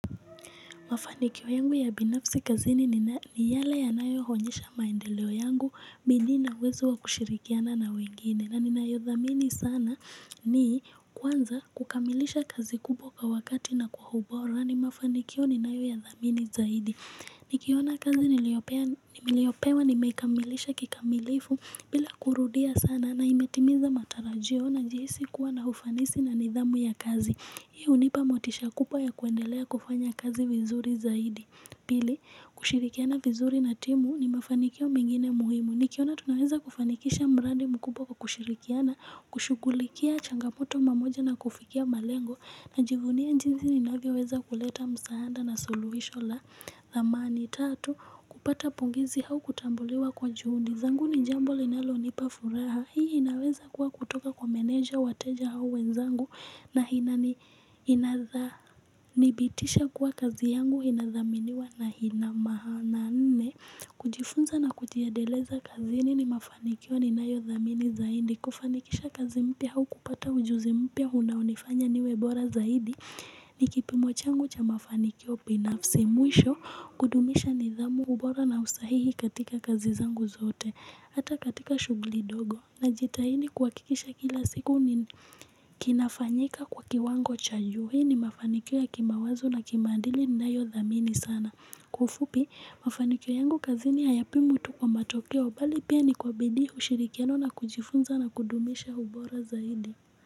Mafanikio yangu ya binafsi kazini ni yale yanayo onyesha maendeleo yangu bidii na uwezo wa kushirikiana na wengine na ninayodhamini sana ni kwanza kukamilisha kazi kubwa kwa wakati na ubora ni mafanikio ninayoyadhamini zaidi. Nikiona kazi niliyopewa nimeikamilisha kikamilifu bila kurudia sana na imetimiza matarajio najihisi kuwa na ufanisi na nidhamu ya kazi Hii hunipa motisha kubwa ya kuendelea kufanya kazi vizuri zaidi Pili, kushirikiana vizuri na timu ni mafanikio mengine muhimu Nikiona tunaweza kufanikisha mradi mkubwa kwa kushirikiana, kushughulikia changamoto pamoja na kufikia malengo Najivunia jinsi ninavyoweza kuleta msaada na suluhisho la dhamani Tatu, kupata pongezi au kutambuliwa kwa juhudi zangu ni jambo linalonipa furaha hii inaweza kuwa kutoka kwa meneja wateja au wenzangu na inanidhibitisha kuwa kazi yangu ina thaminiwa na ina maana nne kujifunza na kujiendeleza kazini ni mafanikio ninayodhamini zaidi kufanikisha kazi mpya au kupata ujuzi mpya unaonifanya niwe bora zaidi ni kipimo changu cha mafanikio binafsi mwisho kudumisha nidhamu ubora na usahihi katika kazi zangu zote Hata katika shughuli ndogo najitahidi kuhakikisha kila siku ni kinafanyika kwa kiwango cha juu hii ni mafanikio ya kimawazo na kimaadili ninayodhamini sana Kwa ufupi mafanikio yangu kazini hayapimwi tu kwa matokeo bali pia ni kwa bidii ushirikiano na kujifunza na kudumisha ubora zaidi.